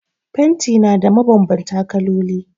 Fanti na da mabanbanta kaloli